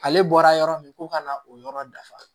Ale bɔra yɔrɔ min ko ka na o yɔrɔ dafa